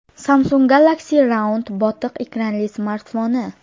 Samsung Galaxy Round botiq ekranli smartfoni.